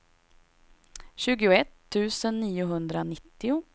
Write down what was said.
tjugoett tusen niohundranittio